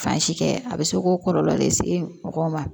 Fan si kɛ a bɛ se ko kɔlɔlɔ lase mɔgɔw ma